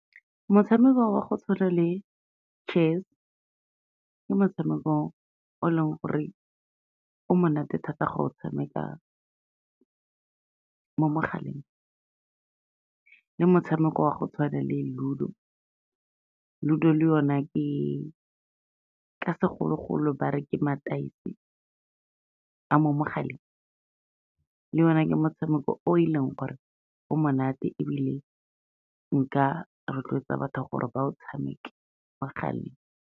Motshameko wa go tshwana le chess, ke motshamekong o leng gore o monate thata go o tshameka mo mogaleng. Le motshameko wa go tshwana le ludo, ludo le yone ka segologolo ba re ke mataese a mo mogaleng, le yona ke motshameko o e leng gore o monate ebile nka rotloetsa batho gore ba o tshameke mo mogaleng.